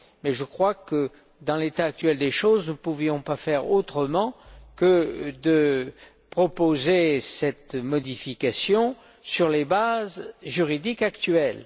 Mais je crois que, dans l'état actuel des choses, nous ne pouvions pas faire autrement que de proposer cette modification sur les bases juridiques actuelles.